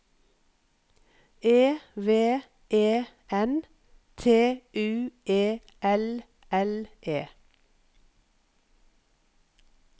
E V E N T U E L L E